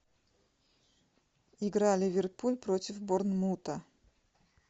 игра ливерпуль против борнмута